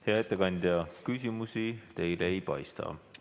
Hea ettekandja, küsimusi teile ei paista olevat.